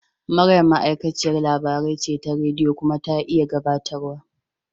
Maryam ma'aikaciyar labarai ce ta rediyo kuma ta iya gabatarwa.